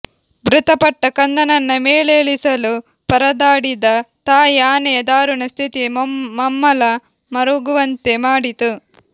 ಮೃತಪಟ್ಟ ಕಂದನನ್ನ ಮೇಲೇಳಿಸಲು ಪರದಾಡಿದ ತಾಯಿ ಆನೆಯ ದಾರುಣ ಸ್ಥಿತಿ ಮಮ್ಮಲ ಮರುಗುವಂತೆ ಮಾಡಿತು